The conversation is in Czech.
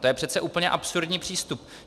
To je přece úplně absurdní přístup.